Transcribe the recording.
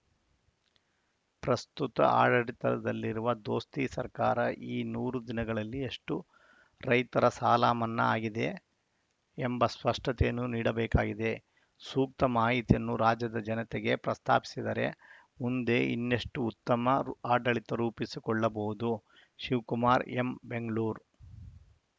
ಪ್ರಸ್ತುತ ಆಡಳಿತದಲ್ಲಿರುವ ದೋಸ್ತಿ ಸರ್ಕಾರ ಈ ನೂರು ದಿನಗಳಲ್ಲಿ ಎಷ್ಟು ರೈತರ ಸಾಲಮನ್ನಾ ಆಗಿದೆ ಎಂಬ ಸ್ಪಷ್ಟತೆಯನ್ನು ನೀಡಬೇಕಾಗಿದೆ ಸೂಕ್ತ ಮಾಹಿತಿಯನ್ನು ರಾಜ್ಯದ ಜನತೆಗೆ ಪ್ರಸ್ತಾಪಿಸಿದರೆ ಮುಂದೆ ಇನ್ನಷ್ಟು ಉತ್ತಮ ಆಡಳಿತ ರೂಪಿಸಕೊಳ್ಳಬಹುದು ಶಿವಕುಮಾರ್‌ ಎಂ ಬೆಂಗಳೂರು